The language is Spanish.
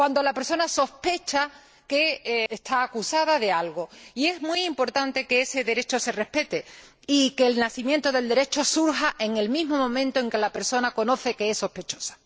Cuando la persona sospecha que está acusada de algo, y es muy importante que ese derecho se respete y que el nacimiento del derecho surja en el mismo momento en que la persona tiene conocimiento de que es sospechosa.